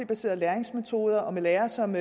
baserede læringsmetoder og med lærere som